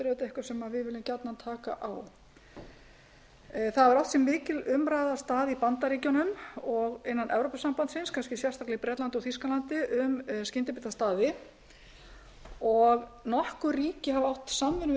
við viljum gjarnan taka á það hefur átt sér mikil umræða stað í bandaríkjunum og innan evrópusambandsins kannski sérstaklega í bretlandi og þýskalandi um skyndibitastaði og nokkur ríki hafa átt samvinnu